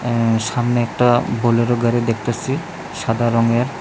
উম সামনে একটা বোলেরো গাড়ি দেখতাসি সাদা রংয়ের।